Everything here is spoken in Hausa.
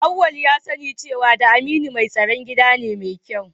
Auwal ya sani cewa da Aminu mai tsaron gida ne mai kyau